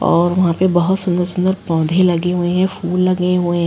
और वहां पर बोहोत सुंदर-सुंदर पौधे लगे हुए हैं फूल लगे हुए हैं।